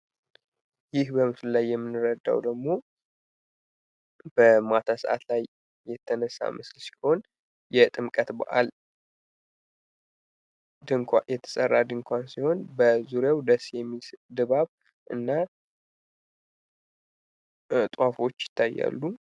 ይህ በምስሉ ላይ የምንረዳው ደግሞ በማታ ሰእት የተነሳ ሲሆን እጅግ የሚያምር በከተማ የሚገኝ ውብ የሆነ የመንገድ ዝርጋታ ነው።